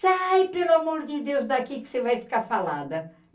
Sai pelo amor de Deus daqui que você vai ficar falada.